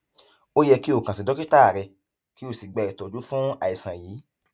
ó yẹ kí o kàn sí dókítà rẹ kí o sì gba ìtọjú fún àìsàn yìí